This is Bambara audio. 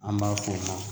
An b'a f'o ma